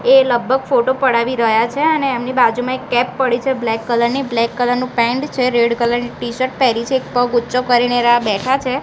એ લગભગ ફોટો પડાવી રહ્યા છે અને એમની બાજુમાં એક ટેપ પડી છે બ્લેક કલર ની બ્લેક કલર નુ પેન્ટ છે રેડ કલર ની ટીશર્ટ પેરી છે એક પગ ઊંચો કરીને બેઠા છે.